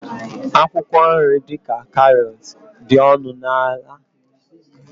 akwụkwọ nri dị ka karọt dị ọnụ ala na ahịa jos